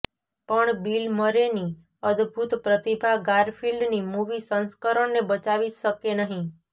પણ બિલ મરેની અદભૂત પ્રતિભા ગારફિલ્ડની મૂવી સંસ્કરણને બચાવી શકે નહીં